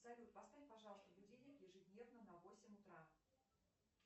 салют поставь пожалуйста будильник ежедневно на восемь утра